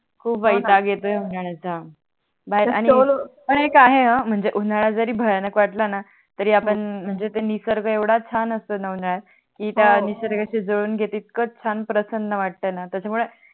खूप वैताग येतो उनड्याचा हो णा बाहेर आणि स्टोल आणि काय आहे हो म्हणजे उनाडा जरी भयानक वाटला णा तरी आपण म्हणजे ते निसर्ग येवडा छान असतोणा उड्यात की त्या निसर्गाच्या जवडून गेल णा इथक प्रसन्न वाटतो णा त्याच्या मूळे